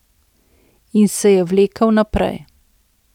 In se je vlekel naprej.